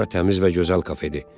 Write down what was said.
Bura təmiz və gözəl kafedir.